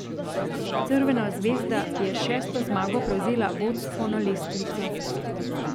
Crvena zvezda je s šesto zmago prevzela vodstvo na lestvici.